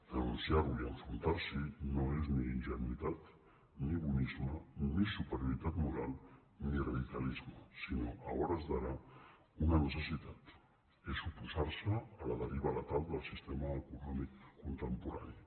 denunciar·lo i enfrontar·s’hi no és ni in·genuïtat ni bonisme ni superioritat moral ni radicalis·me sinó a hores d’ara una necessitat és oposar·se a la deriva letal del sistema econòmic contemporani